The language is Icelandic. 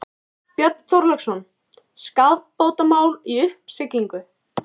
Björn Þorláksson: Skaðabótamál í uppsiglingu?